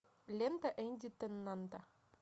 лента энди теннанта